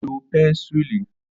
Ó lo pẹnisilínì.